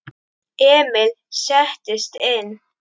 Emil settist inn.